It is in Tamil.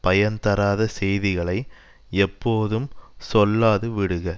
பயன் தராத செய்திகளை எப்போதும் சொல்லாது விடுக